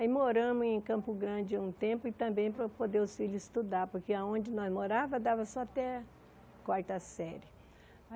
Aí moramos em Campo Grande um tempo e também para poder os filhos estudar, porque onde nós morávamos dava só até quarta série.